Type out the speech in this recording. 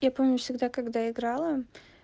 я помню всегда когда играла